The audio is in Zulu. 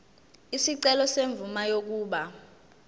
isicelo semvume yokuba